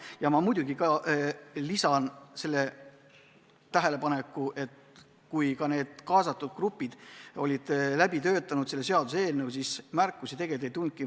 Ja ma lisan ka selle tähelepaneku, et kui need kaasatud grupid olid seaduseelnõu läbi töötanud, siis märkusi kusagilt tegelikult ei tulnud.